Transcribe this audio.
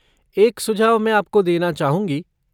एक सुझाव मैं आपको देना चाहूँगी।